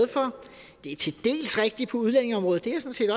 det er til dels rigtigt på udlændingeområdet